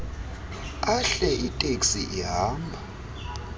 ahle iteksi ihamba